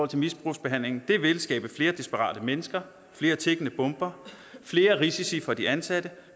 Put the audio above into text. til misbrugsbehandling skabe flere desperate mennesker flere tikkende bomber flere risici for de ansatte